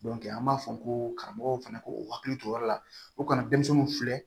an b'a fɔ ko karamɔgɔw fana k'u hakili to o yɔrɔ la u kana denmisɛnninw filɛ